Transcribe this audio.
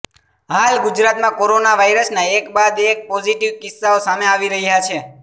હાલ ગુજરાતમાં કોરોના વાયરસનાં એક બાદ એક પોઝિટિવ કિસ્સાઓ સામે આવી રહ્યા છે